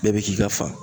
Bɛɛ bi k'i ka fa